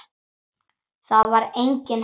Þar var enginn heldur.